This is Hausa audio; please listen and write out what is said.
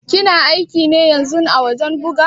Kina aiki ne ƴanzun a wajen ɓuga?